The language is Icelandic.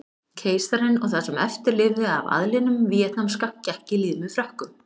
Keisarinn og það sem eftir lifði af aðlinum víetnamska gekk í lið með Frökkum.